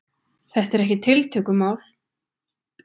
Þetta er ekkert tiltökumál?